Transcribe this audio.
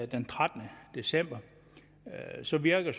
den trettende december så virker